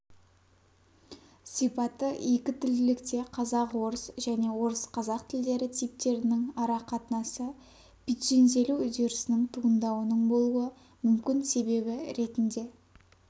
сипаты екі тілділікте қазақ-орыс және орыс-қазақ тілдері типтерінің арақатынасы пиджинделу үдерісінің туындауының болуы мүмкін себебі ретінде